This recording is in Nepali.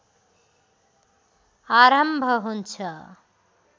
आरम्भ हुन्छ